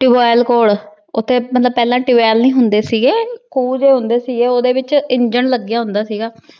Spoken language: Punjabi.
ਟਿਯੂਬ ਵੈੱਲ ਕੋਲ। ਓਥੇ ਮਤਲੱਬ ਪਹਿਲਾ ਟੁਬੈਲ ਨੀ ਹੁੰਦੇ ਸੀਗੇ ਖੂਹ ਜੇ ਹੁੰਦੇ ਸੀਗੇ ਉਹਦੇ ਵਿੱਚ ਇੰਜਣ ਲੱਗਿਆ ਹੁੰਦਾ ਸੀਗਾ।